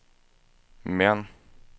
Mern